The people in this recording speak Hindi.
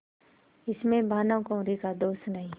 इसमें भानुकुँवरि का दोष नहीं